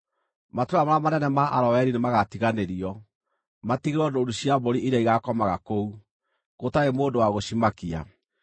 Matũũra marĩa manene ma Aroeri nĩmagatiganĩrio, matigĩrwo ndũũru cia mbũri iria igaakomaga kũu, gũtarĩ mũndũ wa gũcimakia.